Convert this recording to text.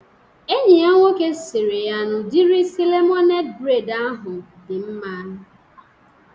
Enyi ya nwoke sịrị ya n'udiri isi lemonede breid ahụ dị mma